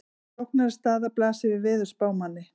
Flóknari staða blasir við veðurspámanni.